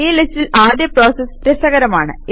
ഈ ലിസ്റ്റിലെ ആദ്യ പ്രോസസ് രസകരമാണ്